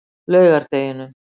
laugardeginum